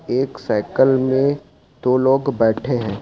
एक साइकिल में दो लोग बैठे हैं।